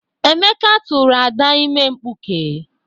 Emeka tụrụ Ada ime mkpuke.